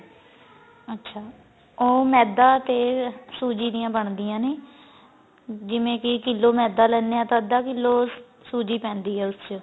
ਅੱਛਾ ਓ ਮੈਦਾ ਤੇ ਸੂਜੀ ਦੀਆਂ ਬਣਦੀਆਂ ਨੇ ਜਿਵੇਂ ਕੀ ਕਿਲ੍ਹੋ ਮੈਦਾ ਲੈਂਦੇ ਆ ਤਾਂ ਅੱਧਾ ਕਿਲ੍ਹੋ ਸੂਜੀ ਪੈਂਦੀ ਏ ਉਸ ਚ